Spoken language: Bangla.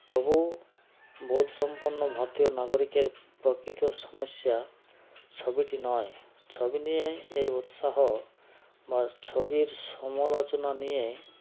তবু বোধসম্পন্ন ভারতীয় নাগরিকের প্রকৃত সমস্যা ছবিটি নয় ছবি নিয়ে এই উৎসাহ বা ছবির সমালোচনা নিয়ে